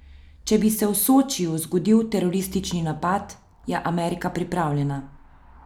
Če bi se v Sočiju zgodil teroristični napad, je Amerika pripravljena.